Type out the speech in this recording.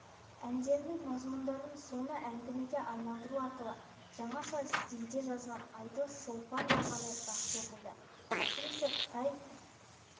әндерінің мазмұндарын соны әңгімеге айналдыру арқылы жаңаша стильде жазған айдос-шолпан романы жақсы оқылды әсіресе қытай